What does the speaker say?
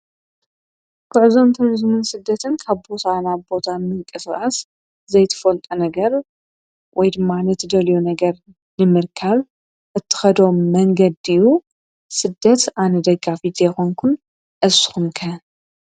ኲዕዞም ተርዝምን ስደትን ካብቦሰኣና ቦታ ምንቀ ሥኣስ ዘይትፈልጦ ነገር ወይድ ማነት ደልዮ ነገር ድምርካል እትኸዶም መንገድኡ ሥደት ኣነ ደጋፊቴኾንኩን ኣስኹምከን።